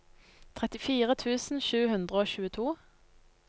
trettifire tusen sju hundre og tjueto